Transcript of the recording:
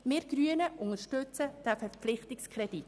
Wir Grünen unterstützen diesen Verpflichtungskredit.